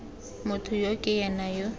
motho yo ke ena yo